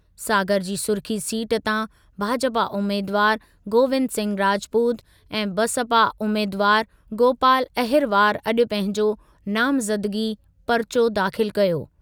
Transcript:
सागर जी सुरखी सीट तां भाजपा उमेदवार गोविंद सिंह राजपूत ऐं बसपा उमेदवार गोपाल अहिरवार अॼु पंहिंजो नामज़दगी परिचो दाख़िल कयो।